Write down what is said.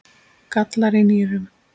gallar í nýrum